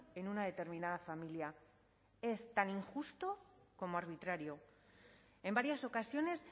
en una determinada familia es tan injusto como arbitrario en varias ocasiones